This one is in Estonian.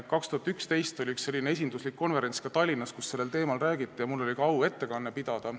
2011. aastal oli üks esinduslik konverents ka Tallinnas, kus sellel teemal räägiti, ja mul oli au seal ettekanne pidada.